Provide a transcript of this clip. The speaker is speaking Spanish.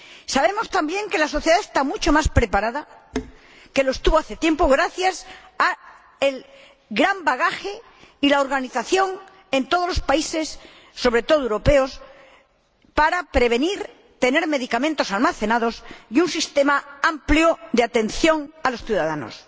Sabemos también que la sociedad está mucho más preparada de lo que estuvo hace tiempo, gracias al gran bagaje y a la organización en todos los países, sobre todo europeos, para prevenir, tener medicamentos almacenados y contar con un sistema amplio de atención a los ciudadanos.